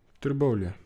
Trbovlje.